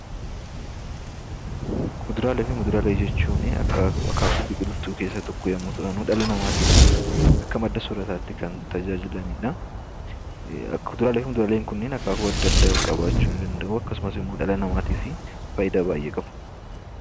Kuduraalee fi muduraalee jechuun akaakuu biqiltuu keessaa tokko yommuu ta'anu, dhala namaatiif akka madda soorataatti kan tajaajilanidha. Kuduraalee fi muduraaleen kunneen akaakuu adda addaa qabaachuu ni danda'u. Akkasumas immoo dhala namaatiif faayidaa baay'ee qabu.